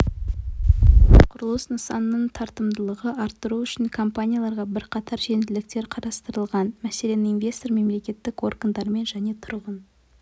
тіпті құрылыс нысанының тартымдылығын арттыру үшін компанияларға бірқатар жеңілдіктер қарастырылған мәселен инвестор мемлекеттік органдармен және тұрғын